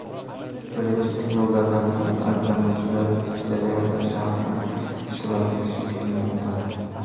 Birinchi tinglovlardan so‘ng ayblanuvchilar jarayonda shaxsan ishtirok etishi kutilmoqda.